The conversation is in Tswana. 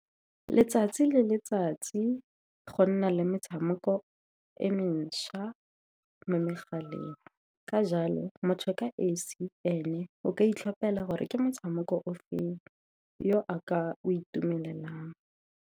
Letsatsi le letsatsi go nna le metshameko e mentšha mo megaleng. Ka jalo, motho e ka esi ene o ka itlhopela gore ke motshameko o feng yo a ka o itumelelang.